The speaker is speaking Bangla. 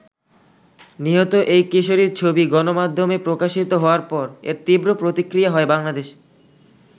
নিহত এই কিশোরির ছবি গণমাধ্যমে প্রকাশিত হওয়ার পর এর তীব্র প্রতিক্রিয়া হয় বাংলাদেশে।